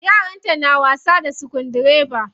Yaranta na wasa da sukudireba.